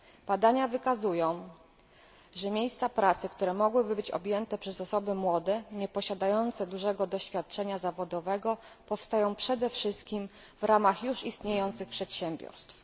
Badania wykazują, że miejsca pracy, które mogłyby być objęte przez osoby młode, nieposiadające dużego doświadczenia zawodowego, powstają przede wszystkim w ramach już istniejących przedsiębiorstw.